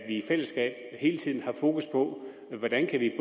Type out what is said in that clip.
i fællesskab hele tiden har fokus på hvordan vi